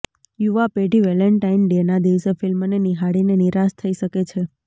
યુવા પેઢી વેલેન્ટાઇન ડેના દિવસે ફિલ્મને નિહાળીને નિરાશ થઇ શકે છે